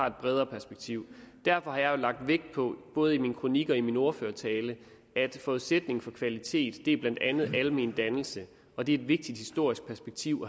et bredere perspektiv derfor har jeg jo lagt vægt på både i min kronik og i min ordførertale at forudsætningen for kvalitet blandt andet er almendannelse og det er et vigtigt historisk perspektiv